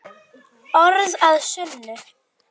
Orð að sönnu.